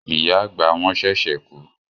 Ìyá àgbà wọn ṣẹ̀ṣẹ̀ kú